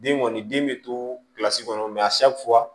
Den kɔni den bɛ tosi kɔnɔ